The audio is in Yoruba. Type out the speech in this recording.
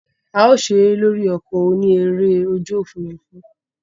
A o sere lori oko oni ere oju ofurufu.